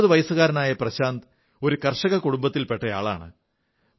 19 വയസ്സുകാരനായ പ്രശാന്ത് ഒരു കർഷക കുടുംബത്തിൽ പെട്ടയാളാണ്